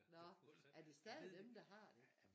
Nå er det stadig dem der har det?